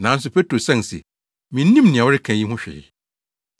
Nanso Petro san se, “Minnim nea woreka yi ho hwee.”